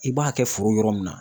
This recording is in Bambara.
I b'a kɛ foro yɔrɔ min na